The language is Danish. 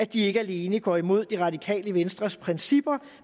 de ikke alene går imod det radikale venstres principper